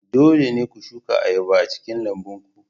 Dole ne ku shuka ayaba a cikin lambun ku.